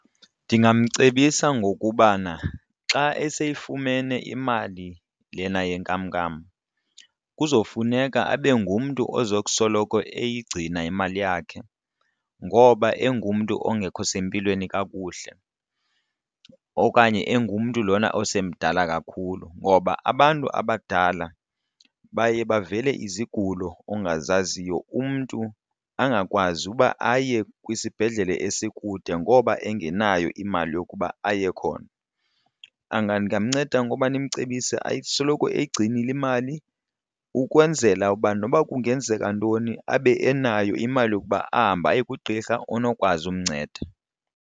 Ndingamcebisa ngokubana xa esiyifumene imali lena yenkamnkam kuzofuneka abe ngumntu ozokusoloko eyigcina imali yakhe ngoba engumntu ongekho sempilweni kakuhle okanye engumntu lona osemdala kakhulu. Ngoba abantu abadala baye bavele izigulo ongazaziyo, umntu angakwazi uba aye kwisibhedlele esikude ngoba engenayo imali yokuba aye khona. Ndingamnceda ngoba ndimcebise asoloko eyigcinile imali ukwenzela uba noba kungenzeka ntoni abe enayo imali yokuba ahambe aye kugqirha onokwazi umnceda.